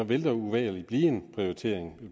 vil der uvægerlig blive en prioritering